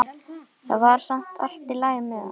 Það var samt allt í lagi með hann.